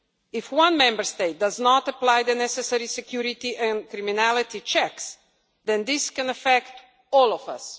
If one Member State does not apply the necessary security and criminality checks, then this can affect all of us.